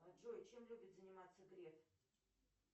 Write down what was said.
джой чем любит заниматься греф